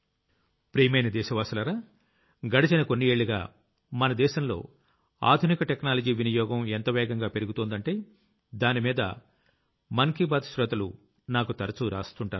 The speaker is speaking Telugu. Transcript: ప్రియమైన దేశ వాసులారా గడచిన కొన్ని ఏళ్లుగా మన దేశంలో ఆధునిక టెక్నాలజీ వినియోగం ఎంత వేగంగా పెరుగుతోందంటే దానిమీద మనసులో మాట శ్రోతలు నాకు తరచూ రాస్తుంటారు